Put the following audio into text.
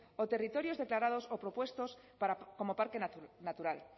o territorios declarados o propuestos como parque natural